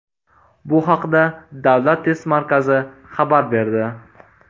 Bu haqda Davlat test markazi xabar berdi .